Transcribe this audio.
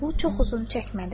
Bu çox uzun çəkmədi.